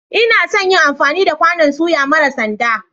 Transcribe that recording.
Ina son yin amfani da kwanon soya mara sanda.